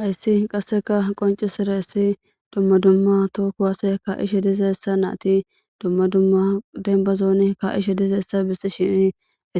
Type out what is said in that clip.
Hayssi qasseka qoncisiraessi dumma dumma too kuwase ka'ishe dizeessa naati dumma dumma denbazooni ka'ishe dizeessa bissishini